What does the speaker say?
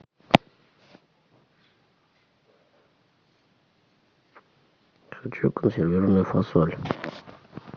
хочу консервированную фасоль